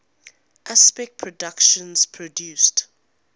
aspect productions produced